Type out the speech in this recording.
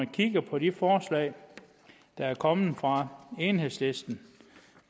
kigger på de forslag der er kommet fra enhedslisten